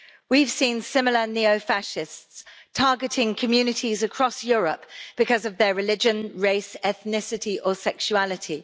We have seen similar neo-fascists targeting communities across Europe because of their religion, race, ethnicity or sexuality.